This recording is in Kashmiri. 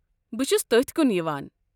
بہٕ چھُس تٔتھۍ کُن یِوان۔